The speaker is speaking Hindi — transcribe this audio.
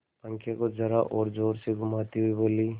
पंखे को जरा और जोर से घुमाती हुई बोली